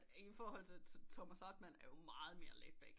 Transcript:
Det er i forhold til Thomas Hartmann er jo meget mere laid back